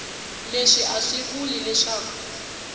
leswi a swi vuli leswaku